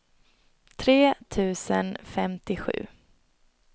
tre tusen femtiosju